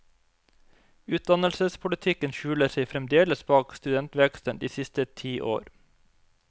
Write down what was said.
Utdannelsespolitikken skjuler seg fremdeles bak studentveksten de siste ti år.